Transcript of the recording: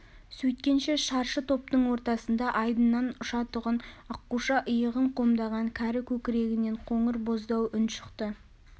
сөйткенше шаршы топтың ортасында айдыннан ұшатұғын аққуша иығын қомдаған кәрі көкірегінен қоңыр боздау үн шықты